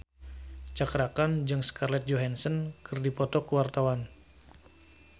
Cakra Khan jeung Scarlett Johansson keur dipoto ku wartawan